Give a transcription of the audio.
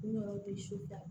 N yɛrɛ bɛ so ta